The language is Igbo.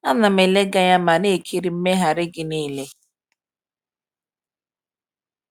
A na m ele gị anya ma na-ekiri mmegharị gị niile.